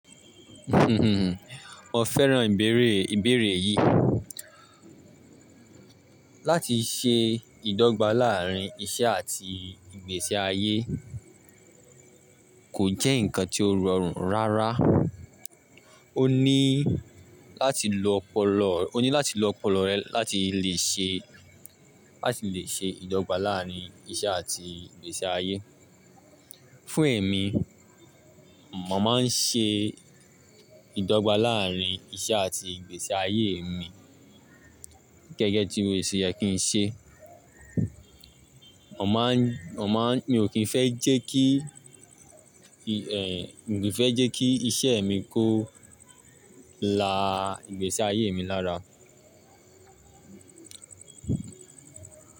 Mo fẹ́ran ìbéèrè, ìbéèrè yìí. Láti ṣe ìdọ́gba láàárín iṣẹ́ àti ìgbésí ayé kò jẹ́ nǹkan tí ó rọrùn rárá. O ní láti lo ọpọlọ, o ní láti lo ọpọlọ rẹ láti le ṣe, láti le ṣe ìdọ́gba láàárín iṣẹ́ àti ìgbésí ayé. Fún èmi, mo máa ń ṣe ìdọ́gba láàárín iṣẹ́ àti ìgbésí ayé mi gẹ́gẹ́ tí ó ṣe yẹ kí n ṣe. Mo máa ń, mo máa ń-- mi ò kí ń fẹ́ jẹ́ kí, mi ò kí ń fẹ́ jẹ́ kí iṣẹ́ mi kó la ìgbésí ayé mi lára.